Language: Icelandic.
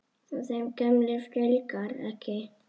Og þeim gömlu fjölgar ekki.